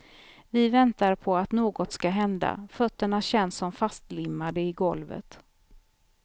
Vi väntar på att något ska hända, fötterna känns som fastlimmade i golvet.